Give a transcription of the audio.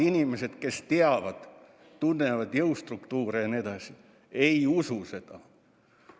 Inimesed, kes teavad-tunnevad jõustruktuure ja nii edasi, ei usu seda.